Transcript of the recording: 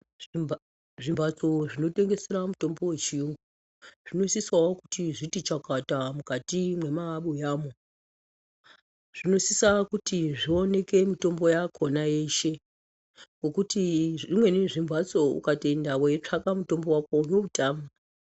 Zvimbatso zvinotengesera mutombo yechiyungu zvinosise kuti chakata mukati mwemabiyamo zvinosisa kuti zvioneke mitombo yakona yeshe ngekuti zvimweni zvimbatso ukatoenda weitsvaka mutombo wako unoutama.